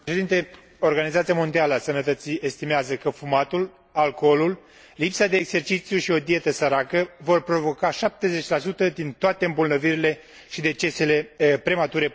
Organizația Mondială a Sănătății estimează că fumatul, alcoolul, lipsa de exercițiu și o dietă săracă vor provoca 70 din toate îmbolnăvirile și decesele premature până în